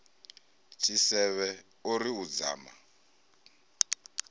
tshisevhe o ri u dzama